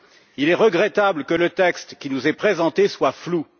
Il est regrettable que le texte qui nous est présenté soit flou.